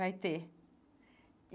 Vai ter e.